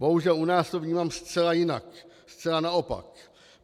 Bohužel u nás to vnímám zcela jinak, zcela naopak.